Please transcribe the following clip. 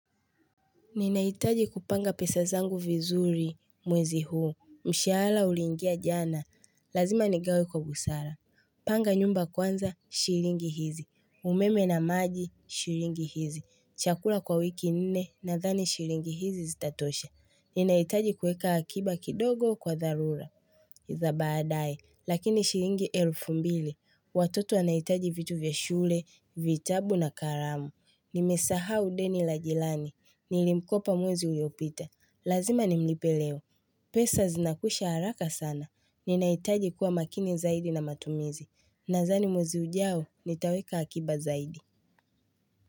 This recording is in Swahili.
Ninahitaji kupanga pesa zangu vizuri mwezi huu. Mshahsala uliingia jana. Lazima nigawe kwa busara. Panga nyumba kwanza, shiringi hizi. Umeme na maji, shiringi hizi. Chakula kwa wiki nne na dhani shilingi hizi zitatosha. Ninaitaji kueka akiba kidogo kwa dharura. Za baadae. Lakini shilingi elfu mbili. Watoto wanaitaji vitu vya shule, vitabu na karamu. Nimesahau deni la jilani. Nilimkopa mwezi uliopita. Lazima nimlipeleo. Pesa zinakwisha haraka sana. Ninaitaji kuwa makini zaidi na matumizi. Nazani mwezi ujao nitaweka akiba zaidi.